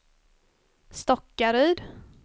Stockaryd